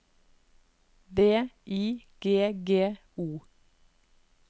V I G G O